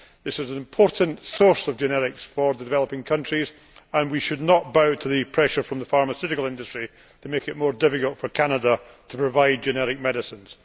This is an important source of generics for developing countries, and we should not bow to pressure from the pharmaceutical industry to make it more difficult for Canada to provide generic medicines.